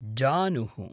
जानुः